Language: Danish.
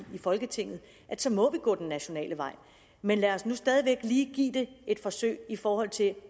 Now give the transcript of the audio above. folketinget at så må vi gå den nationale vej men lad os nu lige stadig væk give give det et forsøg i forhold til